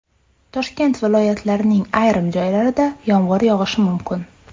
Toshkent viloyatining ayrim joylarida yomg‘ir yog‘ishi mumkin.